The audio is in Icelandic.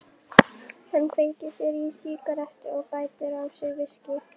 Hann kveikir sér í sígarettu og bætir á sig viskíi.